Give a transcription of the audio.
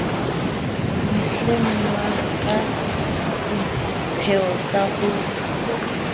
mehlengwa ka seipheo sa ho